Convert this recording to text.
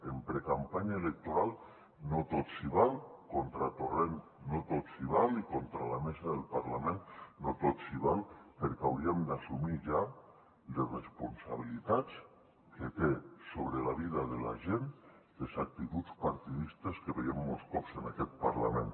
en precampanya electoral no tot s’hi val contra torrent no tot s’hi val i contra la mesa del parlament no tot s’hi val perquè hauríem d’assumir ja les responsabilitats que tenen sobre la vida de la gent les actituds partidistes que veiem molts cops en aquest parlament